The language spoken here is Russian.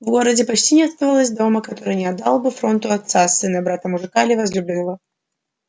в городе почти не оставалось дома который не отдал бы фронту отца сына брата мужика или возлюбленного